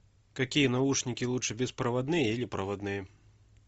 какие наушники лучше беспроводные или проводные